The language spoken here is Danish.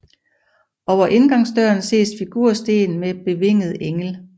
Over indgangsdøren ses figursten med bevinget engel